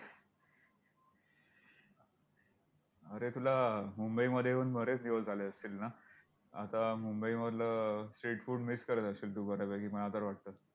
अरे तुला, मुंबईमध्ये येऊन बरेच दिवस झाले असतील ना! आता मुंबईमधलं street food miss करत असशील तू बऱ्यापैकी, मला तर वाटतंय!